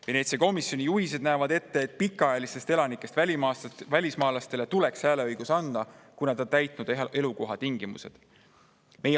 Veneetsia komisjoni juhised näevad ette, et pikaajalistest elanikest välismaalastele tuleks hääleõigus anda, kui nad on täitnud elukohatingimused.